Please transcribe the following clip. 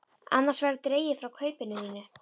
Annars verður dregið frá kaupinu þínu.